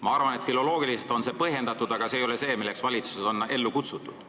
Ma arvan, et filoloogiliselt on see põhjendatud, aga see ei ole see, milleks valitsus on ellu kutsutud.